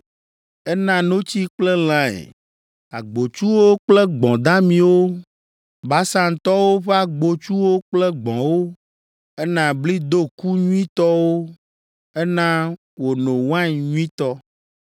Ena notsi kple lãe agbotsuwo kple gbɔ̃ damiwo Basantɔwo ƒe agbotsuwo kple gbɔ̃wo, Ena bli doku nyuitɔe Ena wòno wain nyuitɔ.